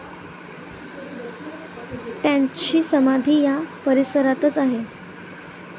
त्यांची समाधी या परिसरातच आहे.